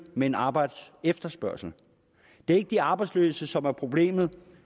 men arbejdsefterspørgslen det er ikke de arbejdsløse som er problemet